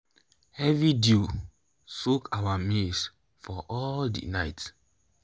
heavy dew soak our maize for all the night